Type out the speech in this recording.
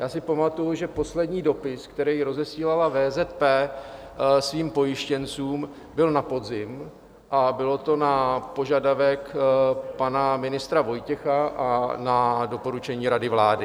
Já si pamatuji, že poslední dopis, který rozesílala VZP svým pojištěncům, byl na podzim, a bylo to na požadavek pana ministra Vojtěcha a na doporučení rady vlády.